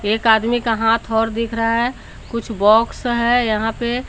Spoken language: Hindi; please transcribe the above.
एक आदमी का हाथ और दिख रहा है कुछ बॉक्स है यहां पे।